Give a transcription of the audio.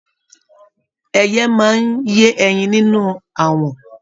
Ẹyẹ máa n ye ẹyìn nínú awọ̀n.